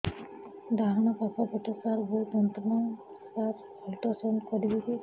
ଡାହାଣ ପାଖ ପେଟ ସାର ବହୁତ ଯନ୍ତ୍ରଣା ସାର ଅଲଟ୍ରାସାଉଣ୍ଡ କରିବି କି